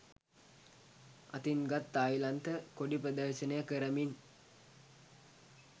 අතින් ගත් තායිලන්ත කොඩි ප්‍රදර්ශනය කරමින්